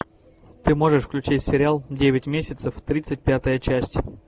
ты можешь включить сериал девять месяцев тридцать пятая часть